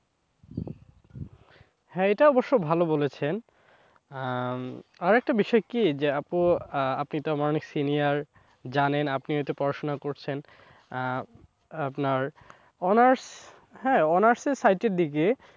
হ্যাঁ এটা অবশ্য ভালো বলেছেন আহ আরেকটা বিষয় কি যে আপু আপনি তো আমার অনেক senior জানেন আপনি তো পড়াশোনা করছেন আহ আপনার honours হ্যাঁ honours এর site এর দিকে,